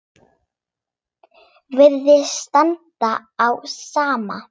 Virðist standa á sama.